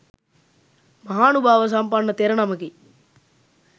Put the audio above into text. මහානුභාව සම්පන්න තෙර නමකි.